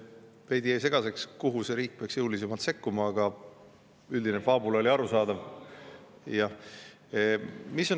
Jäi veidi segaseks, kuhu see riik peaks jõulisemalt sekkuma, aga üldine faabula oli arusaadav.